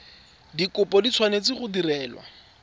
dikopo di tshwanetse go direlwa